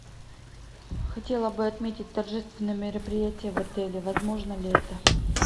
хотела бы отметить торжественное мероприятие в отеле возможно ли это